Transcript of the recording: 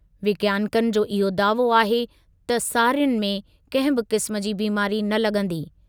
विज्ञानिकनि जो इहो दावो आहे त सारियुनि में कंहिं बि क़िस्म जी बीमारी न लॻंदी।